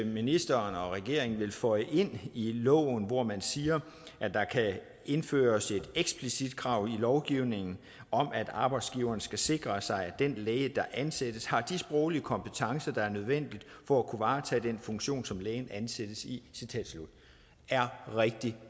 ministeren og regeringen vil føje ind i loven hvor man siger at der kan indføres et eksplicit krav i lovgivningen om at arbejdsgiveren skal sikre sig at den læge der ansættes har de sproglige kompetencer der er nødvendige for at kunne varetage den funktion som lægen ansættes i er rigtig